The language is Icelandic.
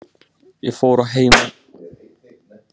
Ég fór að heiman, ég hvarf og lét engan vita.